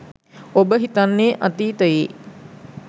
ඔබ හිතන්නේ අතීතයේ